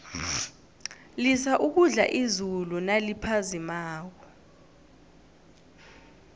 lisa ukudla izulu naliphazimako